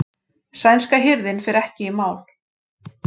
Sænska hirðin fer ekki í mál